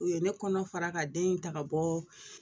U ye ne kɔnɔ fara ka den in ta ka bɔ